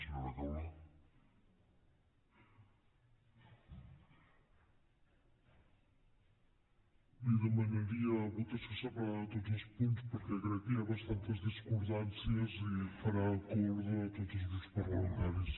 li demanaria votació separada de tots els punts perquè crec que hi ha bastantes discordances i farà acord de tots els grups parlamentaris